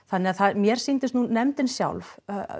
mér sýndist nú nefndin sjálf